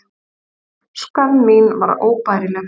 Skömm mín var óbærileg.